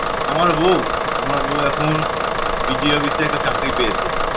আমার বউ? আমার বউ এখন DG office এ একটা চাকরি পেয়েছে